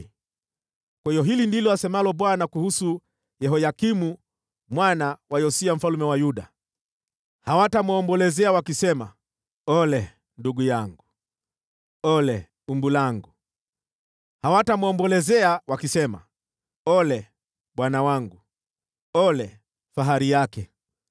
Kwa hiyo hili ndilo asemalo Bwana kuhusu Yehoyakimu mwana wa Yosia mfalme wa Yuda: “Hawatamwombolezea wakisema: ‘Ole, ndugu yangu! Ole, umbu langu!’ Hawatamwombolezea wakisema: ‘Ole, bwana wangu! Ole, fahari yake!’